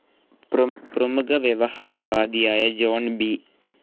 പ്രമുഖ വ്യവഹാര വാദിയായ ജോൺ ബി,